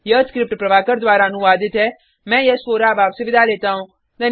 यह स्क्रिप्ट प्रभाकर द्वारा अनुवादित है मैं यश वोरा अब आपसे विदा लेता हूँ